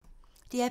DR P2